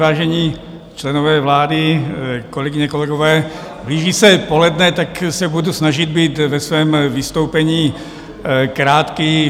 Vážení členové vlády, kolegyně, kolegové, blíží se poledne, tak se budu snažit být ve svém vystoupení krátký.